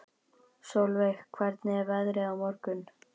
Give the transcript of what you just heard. Solveig, hvernig er veðrið á morgun?